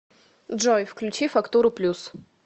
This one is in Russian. джой включи фактуру плюс